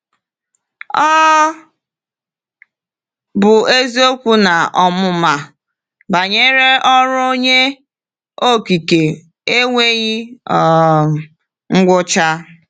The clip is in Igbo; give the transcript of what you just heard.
Ọ bụ eziokwu na ọmụma banyere ọrụ Onye Okike enweghị um ngwụcha.